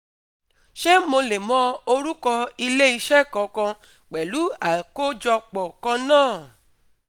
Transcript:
Ṣé mo lè mọ orúkọ ilé iṣẹ́ kankan pẹ̀lú àkójọpọ̀ kan náà?